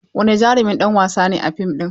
Wani jarumin ɗan wasa ne a fim ɗin?